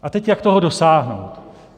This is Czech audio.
A teď jak toho dosáhnout.